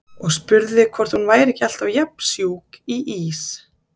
Og spurði hvort hún væri ekki alltaf jafn sjúk í ís.